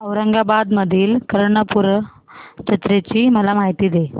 औरंगाबाद मधील कर्णपूरा जत्रेची मला माहिती दे